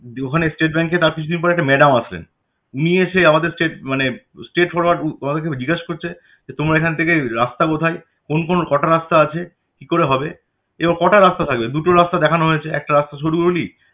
যে ওখানে state bank এর তার কিছু দিন পরে একটা ম্যাডাম আসলেন নিয়ে এসে আমাদেরকে straight মানে straight forwar জিজ্ঞেস করছে যে তোমার এখন থেকে রাস্তা কোথায়? কোন কোন কটা রাস্তা আছে? কি করে হবে? এবার কটা রাস্তা থাকবে? দুটো রাস্তা দেখানো হয়েছে একটা রাস্তা সরু গলি